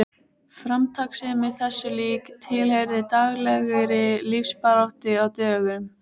Framtakssemi þessu lík tilheyrði daglegri lífsbaráttu á dögum